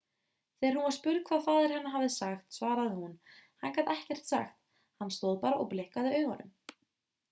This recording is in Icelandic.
þegar hún var spurð hvað faðir hennar hafi sagt svaraði hún hann gat ekkert sagt hann stóð bara og blikkaði augunum